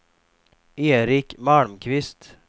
Erik Malmqvist